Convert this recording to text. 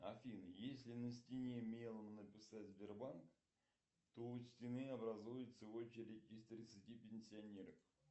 афина если на стене мелом написать сбербанк то у стены образуется очередь из тридцати пенсионеров